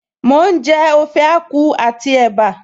Mò ń jẹ Ode Akwu àti ẹ̀bá